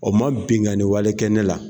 O ma binkanni wale kɛ ne la